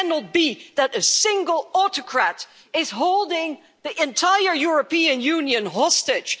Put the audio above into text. It cannot be that a single autocrat is holding the entire European Union hostage.